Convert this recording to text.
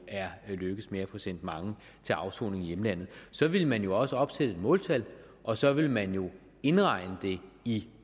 er lykkedes med at få sendt mange til afsoning i hjemlandet så ville man jo også opsætte et måltal og så ville man indregne det i